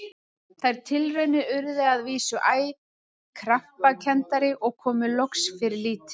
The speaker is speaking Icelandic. Þær tilraunir urðu að vísu æ krampakenndari og komu loks fyrir lítið.